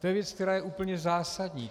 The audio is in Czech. To je věc, která je úplně zásadní.